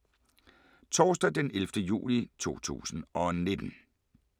Torsdag d. 11. juli 2019